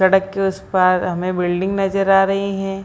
सड़क के उस पार हमें बिल्डिंग नजर आ रही हें।